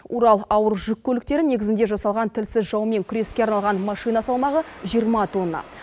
урал ауыр жүк көліктері негізінде жасалған тілсіз жаумен күреске арналған машина салмағы жиырма тонна